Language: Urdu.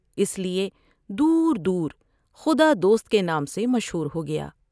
اس لیے دور دور خدا دوست کے نام سے مشہور ہو گیا ۔